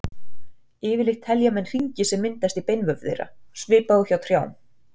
Yfirleitt telja menn hringi sem myndast í beinvef þeirra, svipað og hjá trjám.